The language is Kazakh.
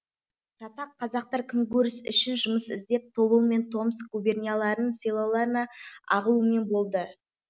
жатақ қазақтар күнкөріс үшін жүмыс іздеп тобылмен томск губернияларының селоларына ағылумен болды